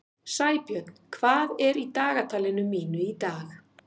Sæbjörn, hvað er í dagatalinu mínu í dag?